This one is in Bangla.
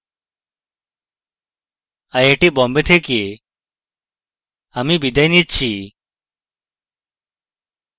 আই আই টী বোম্বে থেকে amal বিদায় নিচ্ছি